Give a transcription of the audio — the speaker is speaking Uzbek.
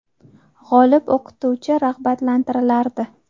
G‘olib o‘qituvchi rag‘batlantirilardi.